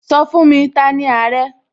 Sọ fún mi!, T'ani Àrẹ?